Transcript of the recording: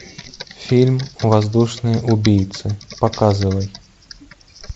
фильм воздушные убийцы показывай